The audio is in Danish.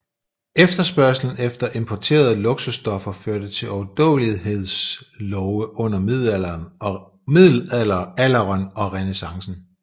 Efterspørgslen efter importerede luksusstoffer førte til overdådigheds love under middelalderen og renæssancen